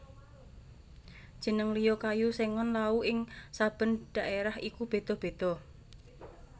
Jeneng liya kayu Sengon Laut ing saben dhaérah iku béda béda